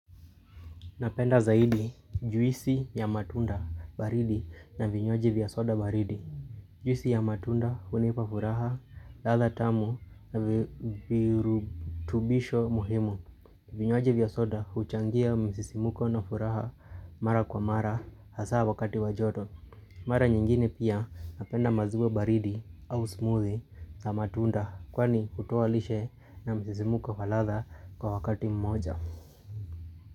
Napenda zaidi juisi ya matunda baridi na vinywaji vya soda baridi. Juisi ya matunda hunipa furaha ladha tamu na viru virutubisho muhimu. Vinywaji vya soda huchangia msisimuko na furaha mara kwa mara hasa wakati wa joto. Mara nyingine pia napenda maziwa baridi au smoothie na matunda kwani hota aishe na msisimuko falatha kwa wakati mmoja.